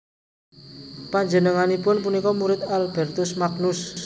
Panjenenganipun punika murid Albertus Magnus